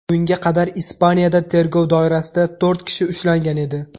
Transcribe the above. Bunga qadar Ispaniyada tergov doirasida to‘rt kishi ushlangan edi.